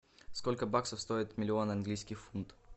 сколько баксов стоит миллион английских фунтов